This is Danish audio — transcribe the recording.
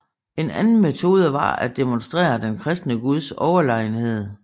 En anden metode var at demonstrere den kristne guds overlegenhed